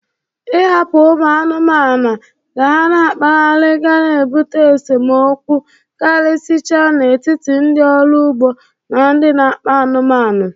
Ị hapụ ụmụ anụmanụ ka ha na-akpaghari ga na-ebụte esemokwu karịsịcha n'etiti ndị ọrụ ugbo na ndị n'akpa anụmanụ.